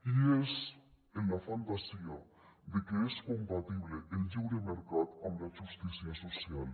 i és en la fantasia de que és compatible el lliure mercat amb la justícia social